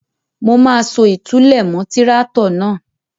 Mo máa so ìtúlẹ̀ mọ́ tíráátọ̀ náà.